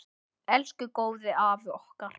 Elsku góði afi okkar.